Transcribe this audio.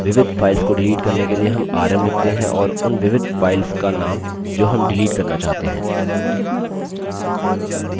विविध files को delete करने के लिए rm rm लिखते हैं और उन विविध files का name जो rm डिलीट करना चाहते हैं